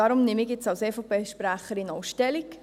Darum nehme ich als EVP-Sprecherin Stellung.